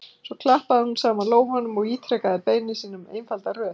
Svo klappaði hún saman lófunum og ítrekaði beiðni sína um einfalda röð.